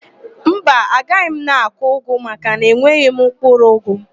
Mba, agaghị m akụ ụgụ makana enweghị m mkpụrụụgụ